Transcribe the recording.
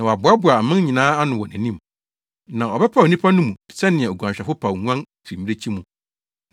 Na wɔbɛboaboa aman nyinaa ano wɔ nʼanim. Na ɔbɛpaw nnipa no mu sɛnea oguanhwɛfo paw nguan fi mmirekyi mu;